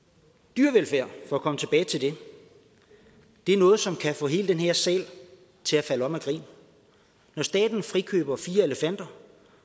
dyrevelfærd for at komme tilbage til det er noget som kan få hele den her sal til at falde om af grin når staten frikøber fire elefanter